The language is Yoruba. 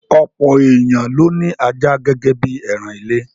Ọ̀pọ̀ èèyàn ló ní ajá gẹ́gẹ́ bí ẹran ilé.